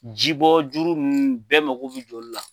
Ji bɔ juuru ninnu bɛɛ mago bi jɔ olu la.